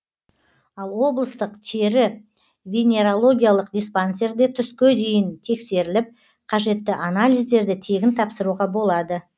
ал облыстық тері венерологиялық диспансерде түске дейін тексеріліп қажетті анализдерді тегін тапсыруға болады